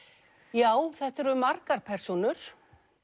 já þetta eru margar persónur